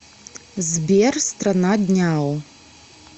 сбер страна дняо